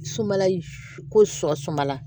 Sumala ko sɔ sumanla